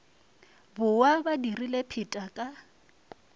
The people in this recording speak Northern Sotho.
bowa ba dirile pheta ka